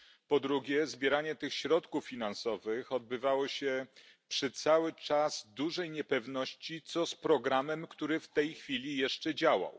Po drugie, zbieranie tych środków finansowych odbywało się cały czas przy dużej niepewności, co z programem, który w tej chwili jeszcze działał.